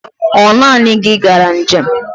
Ọ naanị gị gara njem?